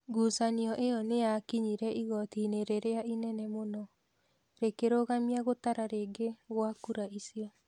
Ngucanio ĩyo nĩ yakinyire igooti-inĩ rĩrĩa inene mũno. Rĩkĩrogamia gũtara rĩngĩ gwa kura icio.